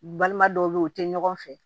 Balima dɔw be ye u te ɲɔgɔn fɛ